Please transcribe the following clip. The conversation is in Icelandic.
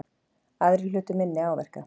Aðrir hlutu minni áverka